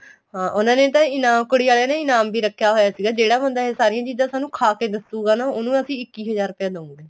ਹਾਂ ਉਹਨਾ ਨੇ ਤਾਂ ਇਨਾਮ ਕੁੜੀ ਆਲਿਆ ਨੇ ਇਨਾਮ ਵੀ ਰੱਖਿਆ ਹੋਇਆ ਸੀਗਾ ਜਿਹੜਾ ਬੰਦਾ ਏ ਸਾਰੀਆਂ ਚੀਜ਼ਾਂ ਤੁਹਾਨੂੰ ਖਾਹ ਕੇ ਦੱਸੂਗਾ ਨਾ ਉਹਨੂੰ ਅਸੀਂ ਇੱਕੀ ਹਜ਼ਾਰ ਰੁਪਇਆ ਦਉਗੇ